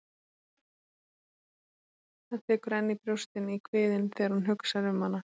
Það tekur enn í brjóstin, í kviðinn, þegar hún hugsar um hana.